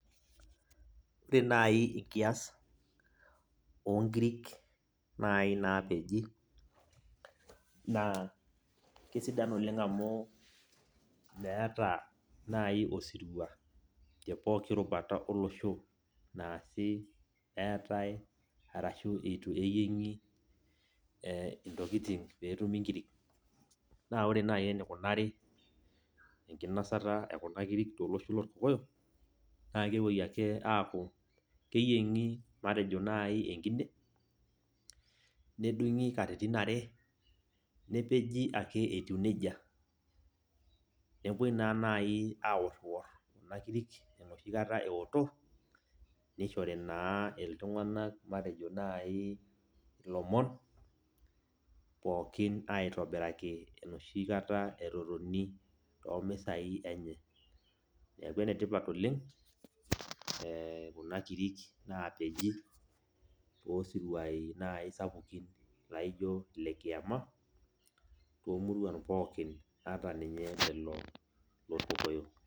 Ore naaji enkias oonkirk naaji naapiji naa keisidai amu meeta naaji osirua tepooki rubara olosho eetai ashuu eitu eyieng'i intokitin peetumi ingirik naa ore naaji eneikunari enkinosata ekuna kirik tolosho loorkokoyok naa kepuoi ake aaku keyieng'i matejo naa ji enkine nedungi katitin are nedungi ake etieu nejia nepuoi naa naaji aworriwar kuna kirik enoshi kata ewoto nishori naa iltung'anak matejo naaji ilomon pooikin airobiraki enoshi kata etotoni temisa enye neeku enetipa oleng kuna kirik naapeji toosiriwuai sapukin laijio inekiyama toomuruan pookin ata ninye lelo loorkokoyok.